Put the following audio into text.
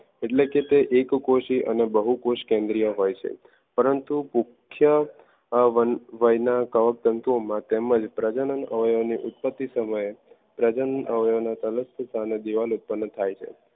એટલે તે કે એક કોશી અને બહુ કોશી કેન્દ્રીય હોય છે. પરંતુ મુખ્ય વય વય કવક તંતુઓમાં તેમજ પ્રજનન અવયવોની ઉત્પત્તિ સમયે પ્રજનન અવયવ દિવાલ ઉત્પન્ન થાય છે